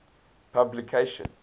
publication